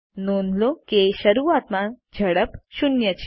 નોંધ લો કે શરૂઆતમાં ઝડપ 0 છે